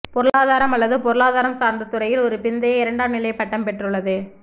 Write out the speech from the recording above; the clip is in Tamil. பொருளாதாரம் அல்லது பொருளாதாரம் சார்ந்த துறையில் ஒரு பிந்தைய இரண்டாம் நிலை பட்டம் பெற்றுள்ளது